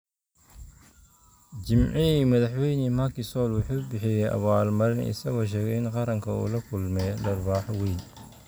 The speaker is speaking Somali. Jimcihii, Madaxweyne Macky Sall wuxuu bixiyay abaal-marin, isagoo sheegay in qaranka uu la kulmay "dharbaaxo weyn".